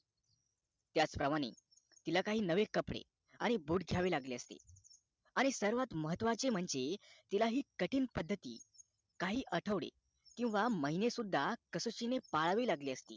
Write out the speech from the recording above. त्याच प्रमाणे तिला काही नवीन कपडे आणि boot घ्यावे लागले असते आणि सगळ्यात महत्वाचे म्हणजे तिला हे कठीण पद्धती काही आठवडे किंवा महिने सुद्धा कसोटीने पाळावे लागली असती